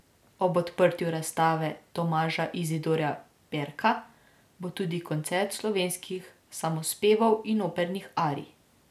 Ob odprtju razstave Tomaža Izidorja Perka bo tudi koncert slovenskih samospevov in opernih arij.